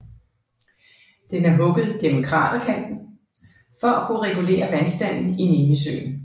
Den er hugget gennem kraterranden for at kunne regulere vandstanden i Nemisøen